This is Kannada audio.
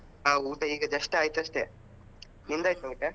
ಹಾ ಊಟ ಈಗ just ಆಯ್ತಷ್ಟೆ, ನಿಂದಾಯ್ತಾ ಊಟ?